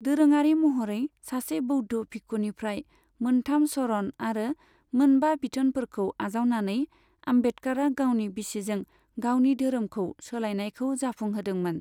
दोरोङारि महरै सासे बौद्ध भिक्षुनिफ्राय मोन्थाम शरण आरो मोनबा बिथोनफोरखौ आजावनानै, आम्बेडकारा गावनि बिसिजों गावनि दोहोरोम सोलायनायखौ जाफुं होदोंमोन।